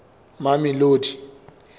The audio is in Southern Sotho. mamelodi